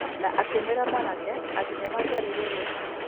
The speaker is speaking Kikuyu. Na akĩ mwĩra mwanake atĩ nĩ mangĩaririe rũcio.